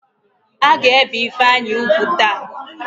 A ga-ébè Ifeanyị úgwù taa?